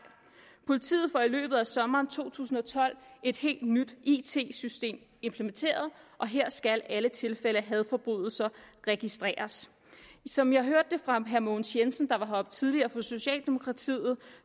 politiet får i løbet af sommeren to tusind og tolv et helt nyt it system implementeret og her skal alle tilfælde af hadforbrydelser registreres som jeg hørte det fra herre mogens jensen der var heroppe tidligere for socialdemokratiet